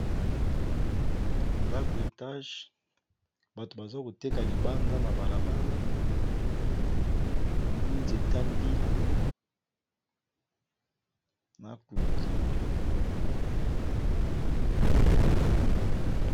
Ndako etage bato baza koteka libanda na balabala namoni nzeta mbila na cloture.